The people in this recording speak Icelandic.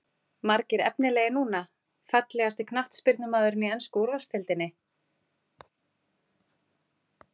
Margir efnilegir núna Fallegasti knattspyrnumaðurinn í ensku úrvalsdeildinni?